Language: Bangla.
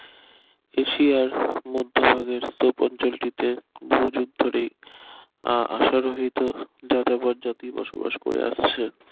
এশিয়ার মধ্যভাগের সোপ অঞ্চলটিতে বহুযুগ ধরেই আহ আসা রহিত যাযাবর জাতি বসবাস করে আসছে